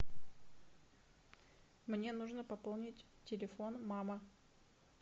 мне нужно пополнить телефон мама